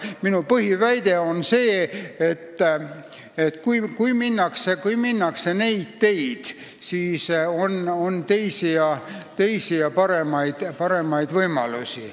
Aga minu põhiväide on see, et on teisi ja paremaid võimalusi.